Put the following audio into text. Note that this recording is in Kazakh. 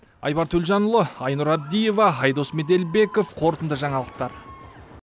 айбар төлжанұлы айнұр абдиева айдос меделбеков қорытынды жаңалықтар